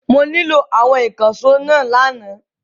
Mo nílò àwọn ìkànṣó náà lánàá.